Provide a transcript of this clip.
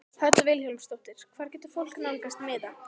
Hödd Vilhjálmsdóttir: Hvar getur fólk nálgast miða?